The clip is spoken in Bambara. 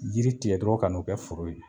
Yiri tigɛ dɔrɔn ka n'o kɛ foro ye